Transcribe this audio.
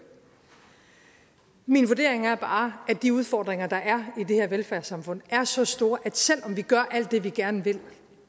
min vurdering er bare at de udfordringer der er i det her velfærdssamfund er så store at selv om vi gør alt det vi gerne vil